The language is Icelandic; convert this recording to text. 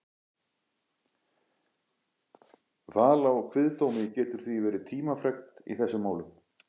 Val á kviðdómi getur því verið tímafrekt í þessum málum.